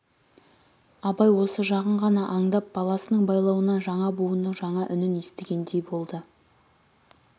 абай осы жағын ғана аңдап баласының байлауынан жаңа буынның жаңа үнін естігендей болды